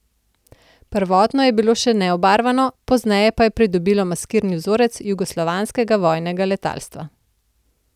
Prvotno je bilo še neobarvano, pozneje pa je pridobilo maskirni vzorec jugoslovanskega vojnega letalstva.